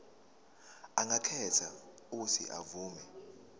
angakhetha uuthi avume